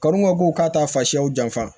Kanu ko k'a ta senɲɛw janfa